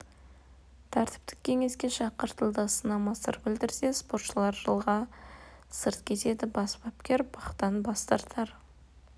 тәртіптік кеңеске шақыртылды сынама сыр білдірсе спортшылар жылға сырт кетеді бас бапкер бақтан бас тартар